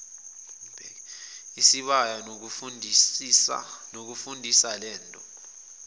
isibaya kunokufundisa lento